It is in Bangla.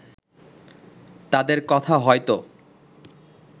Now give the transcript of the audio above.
তাদের কথা হয়তো